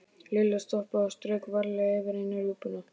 Lilla stoppaði og strauk varlega yfir eina rjúpuna.